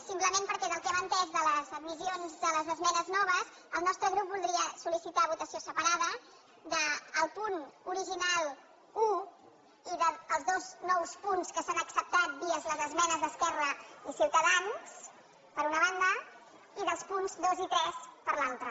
simplement perquè del que hem entès de les admissions de les esmenes noves el nostre grup voldria sol·licitar votació separada del punt original un i dels dos nous punts que s’han acceptat via les esmenes d’esquerra i ciutadans per una banda i dels punts dos i tres per l’altra